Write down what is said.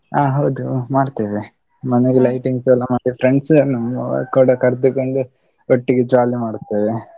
ಹ ಹೌದು ಮಾಡ್ತೇವೆ, ಮನೆಗೆ lightings ಎಲ್ಲಾ ಮಾಡಿ friends ಅನ್ನು ಕೂಡ ಕರ್ದುಕೊಂಡು, ಒಟ್ಟಿಗೆ jolly ಮಾಡುತ್ತೇವೆ.